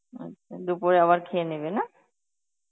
আচ্ছা, দুপুরে আবার খেয়ে নেবে না?